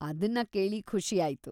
ಅದನ್ನ ಕೇಳಿ ಖುಷಿ ಆಯ್ತು.